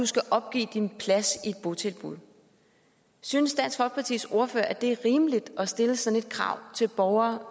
skal opgive sin plads i et botilbud synes dansk folkepartis ordfører at det er rimeligt at stille sådan et krav til borgere